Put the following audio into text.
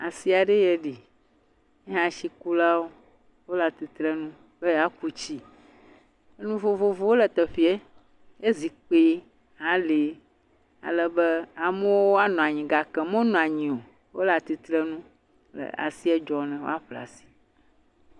Asi aɖee ye ɖi, ye hã tsikulawo wole atitrenu be yewoaku tsi, nu vovovowo le teƒee ye zikpui hã le alebe amewo woanɔ anyi gake womenɔ anyi o. wole asie dzɔ ne woaƒle asi.